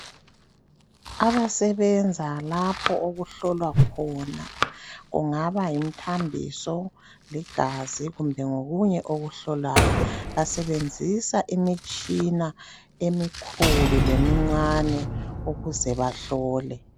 abasebenza lapho okuhlolwa khona kungaba yimthambiso ligazi kumbe ngokunye okuhlolwayo basebenzisa imitshina emikhulu lemincane ukuze bahlole